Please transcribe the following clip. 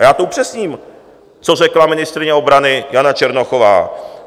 A já to upřesním, co řekla ministryně obrana Jana Černochová.